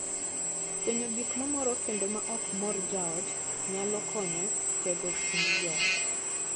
Fwenyo gik mamoro kendo ma ok mor jaot nyalo konyo e tego kind joot.